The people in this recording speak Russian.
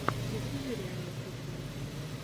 загрузи реальный футбол